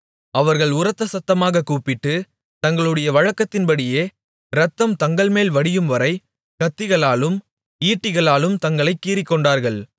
அவர்கள் உரத்தசத்தமாகக் கூப்பிட்டு தங்களுடைய வழக்கத்தின்படியே இரத்தம் தங்கள்மேல் வடியும்வரை கத்திகளாலும் ஈட்டிகளாலும் தங்களைக் கீறிக்கொண்டார்கள்